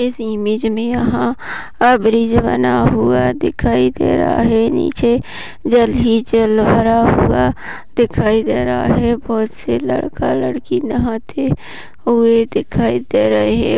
इस इमेज मे यहाँ ब्रिज बना हुआ दिखाई दे रहा है नीचे जल हि जल भरा हुआ दिखाई दे रहा है बहुत सी लड़का लड़की नहाती हुई दिखाई दे रहे।